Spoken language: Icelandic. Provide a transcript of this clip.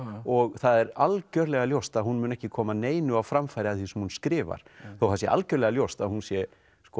og það er algjörlega ljóst að hún mun ekki koma neinu á framfæri af því sem hún skrifar þó það sé algjörlega ljóst að hún sé